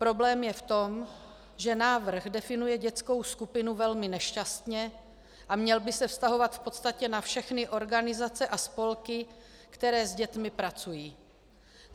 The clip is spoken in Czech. Problém je v tom, že návrh definuje dětskou skupinu velmi nešťastně a měl by se vztahovat v podstatě na všechny organizace a spolky, které s dětmi pracují.